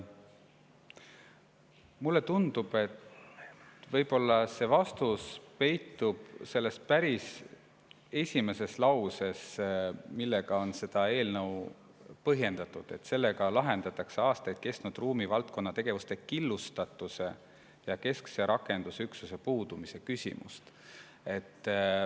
Mulle tundub, et võib-olla see vastus peitub päris esimeses lauses, millega on seda eelnõu põhjendatud: "Eelnõuga lahendatakse juba aastaid kestnud ruumivaldkonna tegevuste killustatuse ja keskse rakendusüksuse puudumise küsimust.